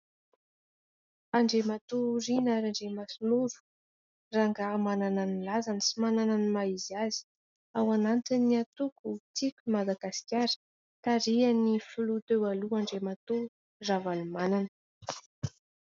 Andriamatoa Riana Andriamasinoro : rangahy manana ny lazany sy manana ny maha izy azy, ao anatin'ny antoko tiko Madagasikara, tarihany filoha teo aloha Andriamatoa Ravalomanana.